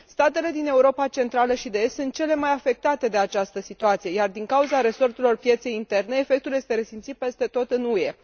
Statele din Europa Centrală și de Est sunt cele mai afectate de această situație, iar, din cauza resorturilor pieței interne, efectul este resimțit peste tot în UE.